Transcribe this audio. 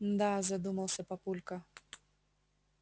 мда задумался папулька